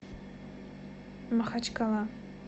махачкала